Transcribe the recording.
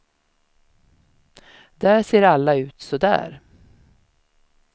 Där ser alla ut så där.